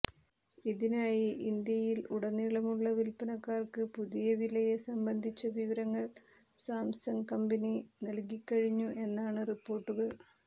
ഇതിനായി ഇന്ത്യയിൽ ഉടനീളമുള്ള വിൽപ്പനക്കാർക്ക് പുതിയ വിലയെ സംബന്ധിച്ച വിവരങ്ങൾ സാംസങ് കമ്പനി നൽകിക്കഴിഞ്ഞു എന്നാണ് റിപ്പോർട്ടുകൾ